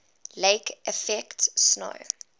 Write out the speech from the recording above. lake effect snow